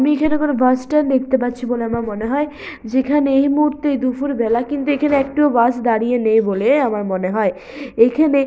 আমি এখানে কোনো বাসস্ট্যান্ড দেখতে পাচ্ছি বলে আমার মনে হয় যেখানে এই মুহূর্তে দুপুরবেলা কিন্তু এখানে একটিও বাস দাঁড়িয়ে নেই বলে আমার মনে হয় এখানে--